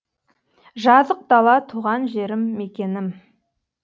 жазық дала туған жерім мекенім